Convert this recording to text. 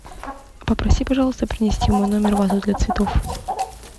попроси пожалуйста принести в мой номер вазу для цветов